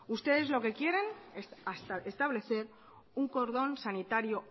ustedes lo que quieren establecer un cordón sanitario